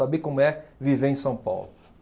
Saber como é viver em São Paulo.